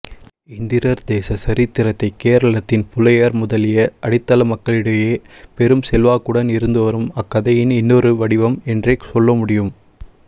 இந்திரர்தேச சரித்திரத்தை கேரளத்தின் புலையர் முதலிய அடித்தள மக்களிடையே பெரும் செல்வாக்குடன் இருந்துவரும் அக்கதையின் இன்னொரு வடிவம் என்றே சொல்லமுடியும்